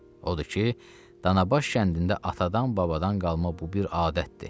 Odur ki, Danabaş kəndində atadan-babadan qalma bu bir adətdir.